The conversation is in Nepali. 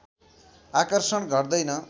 आकर्षण घट्दैन